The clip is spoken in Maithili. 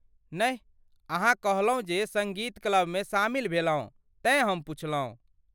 नहि, अहाँ कहलहुँ जे सङ्गीत क्लबमे शामिल भेलहुँ, तेँ हम पुछलहुँ।